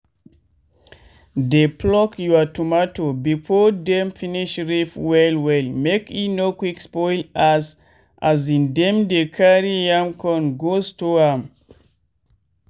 dey pluck your tomato before dem finish rip well well make e no quick spoil as in dem dey carry am con go store am.